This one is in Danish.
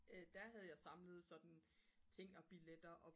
der havde jeg samlet sådan ting og billetter og